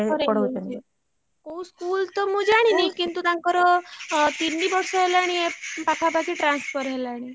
ତାଙ୍କର transfer ହେଇଯାଇଛି କୋଉ school ତ ମୁ ଜାଣିନି କିନ୍ତୁ ତାଙ୍କର ତିନି ବର୍ଷ ହେଲାଣି ପାଖାପାଖି transfer ହେଲାଣି।